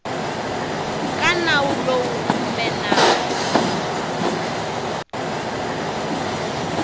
ka nawu lowu kumbe nawu